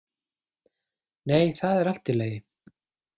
Nei, það er allt í lagi.